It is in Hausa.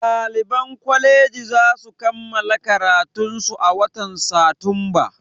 Ɗaliban kwaleji zasu kammala karatunsu a watan satumba